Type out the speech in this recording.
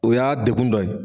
O y'a degun dɔ ye